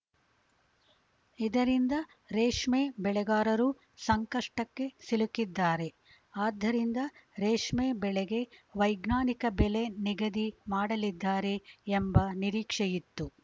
ಇದರಿಂದ ರೇಷ್ಮೆ ಬೆಳೆಗಾರರು ಸಂಕಷ್ಟಕ್ಕೆ ಸಿಲುಕಿದ್ದಾರೆ ಆದ್ದರಿಂದ ರೇಷ್ಮೆ ಬೆಳೆಗೆ ವೈಜ್ಞಾನಿಕ ಬೆಲೆ ನಿಗದಿ ಮಾಡಲಿದ್ದಾರೆ ಎಂಬ ನಿರೀಕ್ಷೆಯಿತ್ತು